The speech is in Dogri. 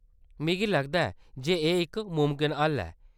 मिगी लगदा ऐ जे एह्‌‌ इक मुमकन हल ऐ।